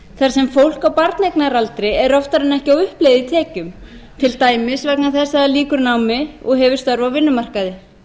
er oftar en ekki á uppleið í tekjum til dæmis vegna þess að það lýkur námi og hefur störf á vinnumarkaði